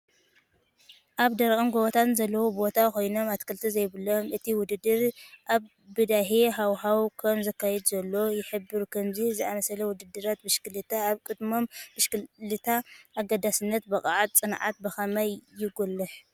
ኣብ ደረቕን ጎቦታትን ዘለውዎ ቦታ ኮይኑ፡ ኣትክልቲ ዘይብሉ እቲ ውድድር ኣብ በዳሂ ሃዋህው ከም ዝካየድ ዘሎ ይሕብር። ከምዚ ዝኣመሰለ ውድድራት ብሽክለታ ኣብ ቅድድም ብሽክለታ ኣገዳስነት ብቕዓትን ጽንዓትን ብኸመይ የጉልሕ?